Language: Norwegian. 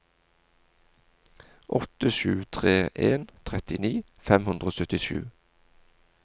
åtte sju tre en trettini fem hundre og syttisju